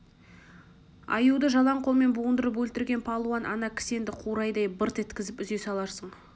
аюды жалаң қолмен буындырып өлтірген палуан ана кісенді қурайдай бырт еткізіп үзе саларсың